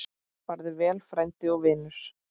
Farðu vel, frændi og vinur.